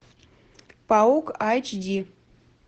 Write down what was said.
паук айчди